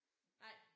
Nej